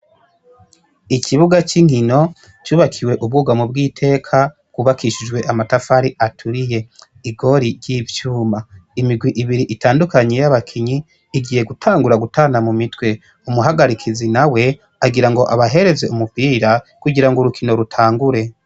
Ikibuga c'inkino cubakiwe ubwugamo bw'iteka bwubakishijwe amatafari aturiye. Igori ry'ivyuma. Imigwi ibiri itandukanye y'abakinyi, igiye gutangura gutana mu mitwe. Umuhagarikizi nawe agira ngo abahereze umupira kugira ngo urukingo rutangure.